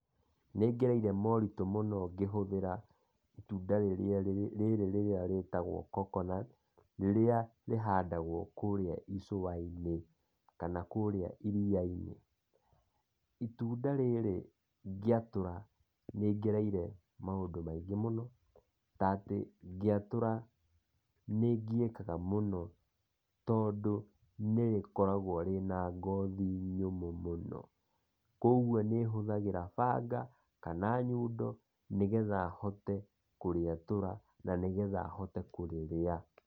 Nĩngereire moritũ mũno ngĩhũthĩra itunda rĩrĩ rĩrĩa rĩtagwo coconut, rĩrĩa rĩhandagwo kũrĩa ĩcũwainĩ kana kũrĩa ĩriainĩ. Itunda rĩrĩ ngĩatũra nĩngereire maũndũ maingĩ mũno ta atĩ ngĩatũra nĩngiyĩkaga mũno, tondũ nĩrĩkoragwo rĩna ngothi nyũmũ mũno, kwoguo nĩ hũthagĩra banga kana nyundo nĩgetha hote kũrietũra na nĩgetha hote kũrĩrĩa.